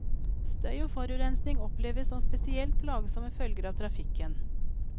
Støy og forurensning oppleves som spesielt plagsomme følger av trafikken.